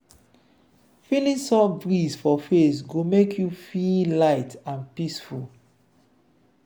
feeling soft breeze for face go make you feel light and peaceful.